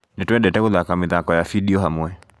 Nĩtwendete gũthaka mĩthako ya bindio hamwe